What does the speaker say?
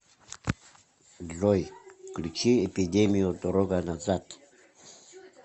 джой включи эпидемию дорога назад